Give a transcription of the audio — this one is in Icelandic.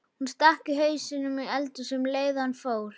Hann stakk hausnum inní eldhúsið um leið og hann fór.